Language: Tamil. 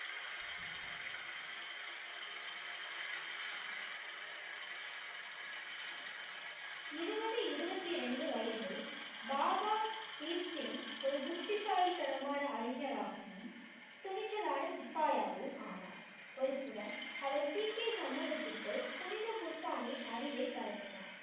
இருபது இருபத்தி ரெண்டு வயதில் பாபா தீப் சிங் ஒரு புத்திசாலித்தனமான அறிஞராகவும், துணிச்சலான சிப்பாயாகவும் ஆனார். ஒருபுறம் அவர் சீக்கியர் சமூகத்துக்குள் புனித குர்பானி அறிவை பரப்பினார்.